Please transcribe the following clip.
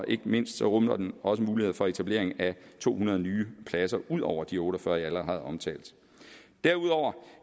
ikke mindst rummer den også muligheder for etableringen af to hundrede nye pladser ud over de otte og fyrre jeg allerede har omtalt derudover